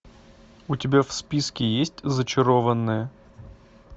у тебя в списке есть зачарованные